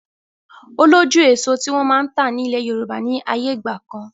O lójú èso tí wọn máa ń ta ni ilẹ̀ Yorùbá ni ayé ìgbàkan.